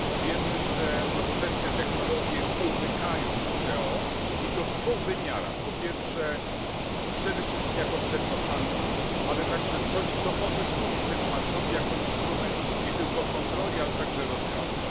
Wiemy, że nowoczesne technologie umykają WTO, i to w dwóch aspektach przede wszystkim jako przedmiot handlu, a także coś, co może temu handlowi służyć jako instrument nie tylko kontroli, ale także rozwiązań.